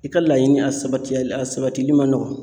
I ka laɲini a sabati a sabatili ma nɔgɔn